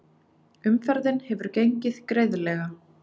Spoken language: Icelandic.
Umferðin hefur gengið greiðlega